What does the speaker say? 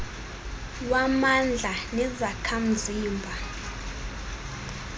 wamandla nezakha mzima